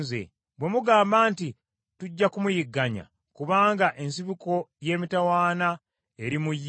“Bwe mugamba nti, ‘Tujja kumuyigganya, kubanga ensibuko y’emitawaana eri mu ye;’